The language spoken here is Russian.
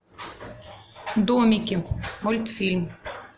домики мультфильм